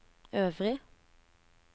øvrig